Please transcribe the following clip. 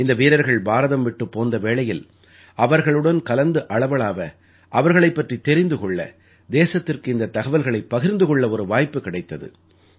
இந்த வீரர்கள் பாரதம் விட்டுப் போந்த வேளையில் அவர்களுடன் கலந்து அளவளாவ அவர்களைப் பற்றித் தெரிந்து கொள்ள தேசத்திற்கு இந்தத் தகவல்களைப் பகிர்ந்து கொள்ள ஒரு வாய்ப்பு கிடைத்தது